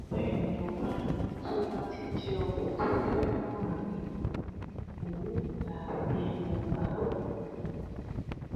bẹẹ ni ọba ní tó bá ti jẹ òun tó fẹ náà rèé òun gbà á bíi ayaba